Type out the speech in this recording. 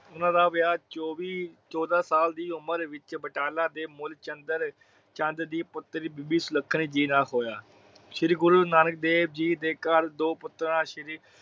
ਉਹਨਾਂ ਦਾ ਵਿਆਹ ਚੌਵੀ ਚੋਦਾ ਸਾਲ ਦੀ ਉਮਰ ਵਿੱਚ ਬਟਾਲਾ ਦੇ ਮੁਲਚੰਦਰ ਚੰਦ ਦੀ ਪੁਤਰੀ ਬੀਬੀ ਸੁਲੱਖਣੀ ਜੀ ਨਾਲ ਹੋਇਆ। ਸ਼੍ਰੀ ਗੁਰੂ ਨਾਨਕ ਦੇਵ ਜੀ ਘਰ ਦੋ ਪੁਤਰਾ ਸ਼੍ਰੀ